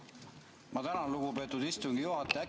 Ma tänan, lugupeetud istungi juhataja!